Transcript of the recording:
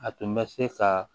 A tun bɛ se ka